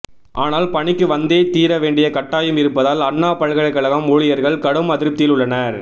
ஆனால் பணிக்கு வந்தே தீர வேண்டிய கட்டாயம் இருப்பதால் அண்ணா பல்கலைக்கழகம் ஊழியர்கள் கடும் அதிருப்தியில் உள்ளனர்